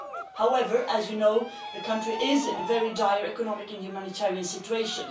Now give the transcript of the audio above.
However, as you know, the country is in a very dire economic and humanitarian situation.